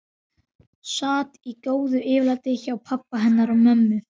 Sat í góðu yfirlæti hjá pabba hennar og mömmu.